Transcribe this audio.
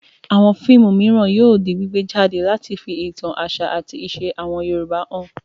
Àwọn fíìmù mìíràn yóò di gbígbé jáde láti fi ìtàn àṣà àti ìṣe àwọn Yorùbá hàn.